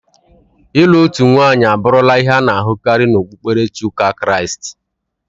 Ịlụ otu nwanyị abụrụla ihe a na-ahụkarị n'okpukperechi ụka Kraịst.